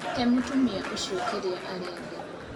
He mũtumia ũcio kĩrĩa arenda!